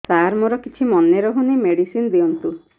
ସାର ମୋର କିଛି ମନେ ରହୁନି ମେଡିସିନ ଦିଅନ୍ତୁ